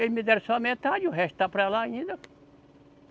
Eles me deram só metade, o resto está para lá ainda.